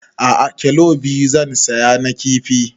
A'a kilo biyu zan saya na kifi